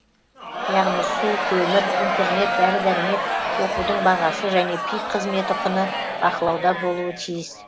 яғни су көмір интернет дәрі дәрмек оқудың бағасы және пик қызметі құны бақылауда болуы тиіс